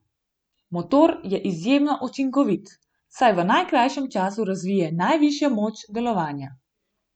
Motor je izjemno učinkovit, saj v najkrajšem času razvije najvišjo moč delovanja.